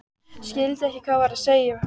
Skildi ekki hvað var verið að segja við hann.